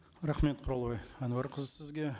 рахмет құралай әнуарқызы сізге